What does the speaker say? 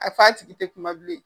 A f''ɔ a tigi tɛ kuma bilen.